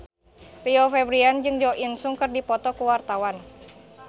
Rio Febrian jeung Jo In Sung keur dipoto ku wartawan